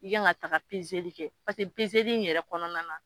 I kan ka taga pezeli kɛ paseke pezeli in yɛrɛ kɔnɔna na